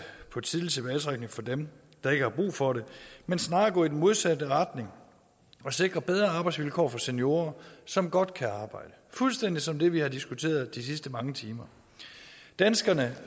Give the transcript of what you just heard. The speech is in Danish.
på tidlig tilbagetrækning for dem der ikke har brug for det men snarere gå i den modsatte retning og sikre bedre arbejdsvilkår for seniorer som godt kan arbejde fuldstændig som det vi har diskuteret de sidste mange timer danskerne